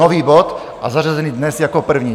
Nový bod a zařazený dnes jako první.